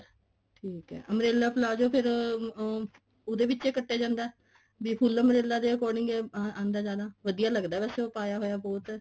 ਠੀਕ ਐ umbrella palazzo ਫੇਰ ਉਹਦੇ ਵਿੱਚ ਹੀ ਕੱਟਿਆ ਜਾਂਦਾ ਵੀ full umbrella ਦੇ according ਅਹ ਆਂਦਾ ਜਿਆਦਾ ਵਧੀਆ ਲੱਗਦਾ ਵੈਸੇ ਉਹ ਪਾਇਆ ਹੋਇਆ ਬਹੁਤ